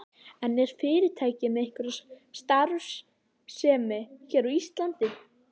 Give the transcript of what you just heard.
En er fyrirtækið með einhverja starfsemi hér á Íslandi?